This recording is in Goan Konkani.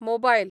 मोबायल